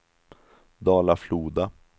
Dala-Floda